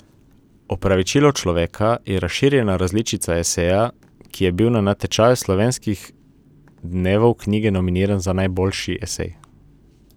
Opravičilo človeka je razširjena različica eseja, ki je bil na natečaju Slovenskih dnevov knjige nominiran za najboljši esej.